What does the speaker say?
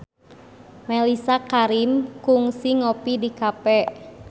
Mellisa Karim kungsi ngopi di cafe